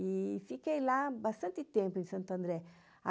E fiquei lá bastante tempo, em Santo André.